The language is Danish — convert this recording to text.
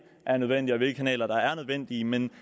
er nødvendige og hvilke kanaler der er nødvendige men